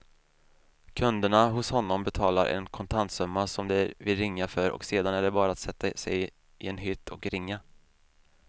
Kunderna hos honom betalar en kontantsumma som de vill ringa för och sedan är det bara att sätta sig i en hytt och ringa.